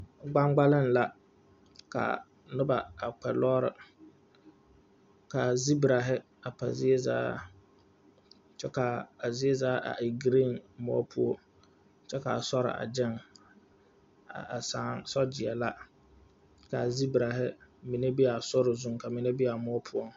Gbaŋgbalaaŋ la ka nobɔ a kpɛ lɔɔre kaa zibrahi pa zie zaa kyɛ kaa a zie zaa a e green moɔ poɔ kyɛ kaa sore a gyɛŋ a saa so gyeɛ la kaa zebrahi mine be a sori zuŋ ka mine be a moɔ poɔŋ.